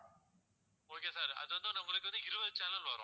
okay sir அது வந்து நம்மளுக்கு வந்து இருவது channel வரும்